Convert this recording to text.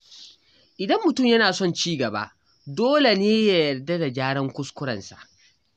Idan mutum yana son ci gaba, dole ne ya yarda da gyaran kuskurensa.